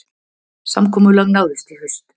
Samkomulag náðist í haust